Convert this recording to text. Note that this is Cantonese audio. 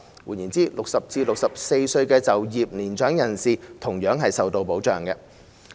換言之 ，60 歲至64歲的年長就業人士同樣受到保障。